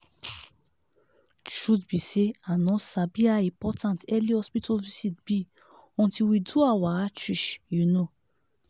truth be say i no sabi how important early hospital visit be until we do our outreach you know.